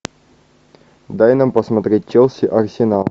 дай нам посмотреть челси арсенал